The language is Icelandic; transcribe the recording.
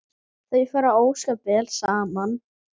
Þau fara ósköp vel saman